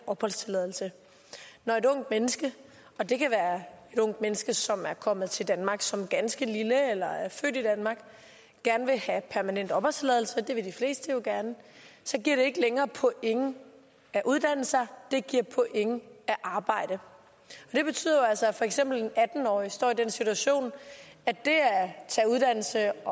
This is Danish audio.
opholdstilladelse når et ungt menneske og det kan være et ungt menneske som er kommet til danmark som ganske lille eller er født i danmark gerne vil have permanent opholdstilladelse det vil de fleste jo gerne giver det ikke længere point at uddanne sig det giver point at arbejde det betyder jo altså at for eksempel en atten årig står i den situation at det at tage uddannelse